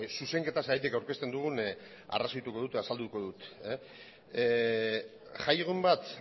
zuzenketa zergatik aurkezten dugun azalduko dut jaiegun bat